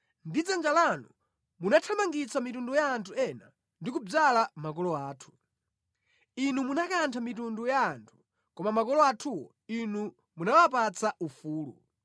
Ndi dzanja lanu munathamangitsa mitundu ya anthu ena ndi kudzala makolo athu; Inu munakantha mitundu ya anthu, koma makolo athuwo Inu munawapatsa ufulu.